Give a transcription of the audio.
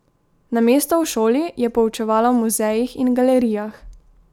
Namesto v šoli je poučevala v muzejih in galerijah.